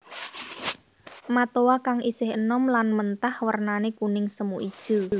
Matoa kang isih enom lan mentah wernané kuning semu ijo